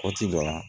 Waati dɔ la